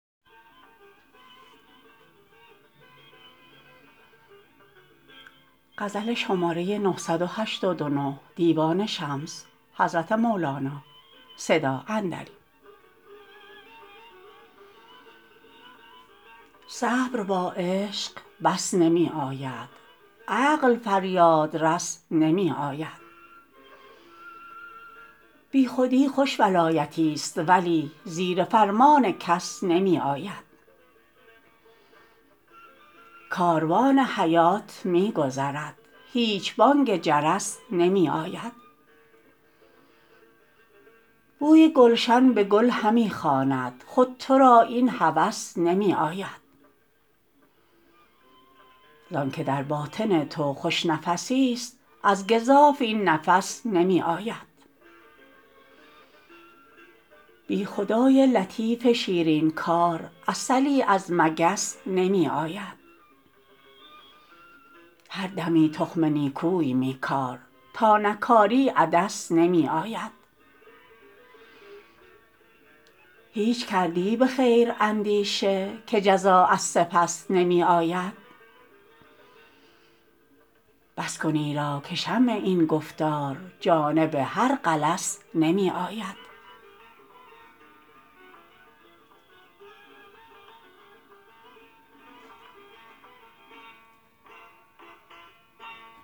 صبر با عشق بس نمی آید عقل فریادرس نمی آید بیخودی خوش ولایتیست ولی زیر فرمان کس نمی آید کاروان حیات می گذرد هیچ بانگ جرس نمی آید بوی گلشن به گل همی خواند خود تو را این هوس نمی آید زانک در باطن تو خوش نفسیست از گزاف این نفس نمی آید بی خدای لطیف شیرین کار عسلی از مگس نمی آید هر دمی تخم نیکوی می کار تا نکاری عدس نمی آید هیچ کردی به خیر اندیشه که جزا از سپس نمی آید بس کن ایرا که شمع این گفتار جانب هر غلس نمی آید